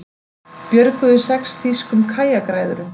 Björguðu sex þýskum kajakræðurum